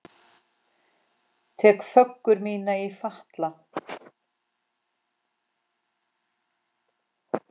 Tek föggur mínar í fatla.